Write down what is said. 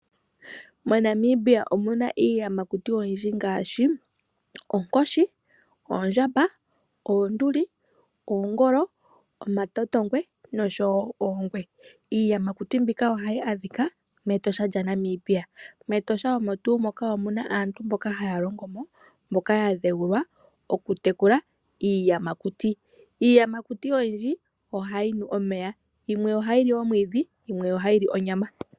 MoNamibia omu na iiyamakuti oyindji ngaashi: oonkoshi, oondjamba, oonduli, oongolo, omatotongwe noshowo oongwe. Iiyamakuti mbika ohayi adhika mEtosha lyaNamibia. MEtosha omo tuu moka omu na aantu mboka haya longo mo, mboka ya dheulilw aokutekula iiyamakuti. Iiyamakuti oyindji ohayi nu omeya. Yimwe ohayi li omwiidhi, yimwe ohayi li onyama.